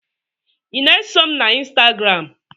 ị na-eso m na ịnstagram?